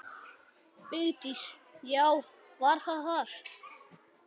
Vigdís: Já, var það þar.